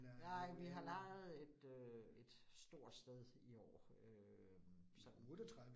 Nej, vi har lejet et øh et stort sted i år øh sådan